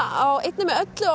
á einni með öllu og